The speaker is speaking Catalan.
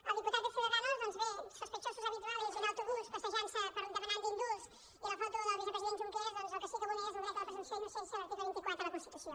al diputat de ciudadanos doncs bé sospechosos habituales i un autobús passejant se demanant indults i la foto del vicepresident junqueras el que sí vulnera és el dret a la presumpció d’innocència l’article vint quatre de la constitució